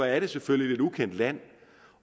er selvfølgelig lidt ukendt land